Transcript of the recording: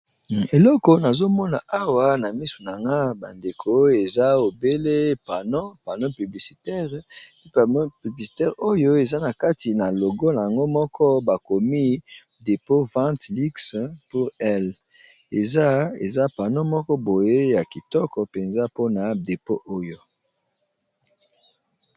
eleko nazomona awa na misu na nga bandeko eza ebele panno panno publicitare ao publicitare oyo eza na kati na logola yango moko bakomi depo vant lux pour ill eza pano moko boye ya kitoko mpenza mpona depo oyo